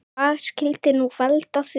Hvað skyldi nú valda því?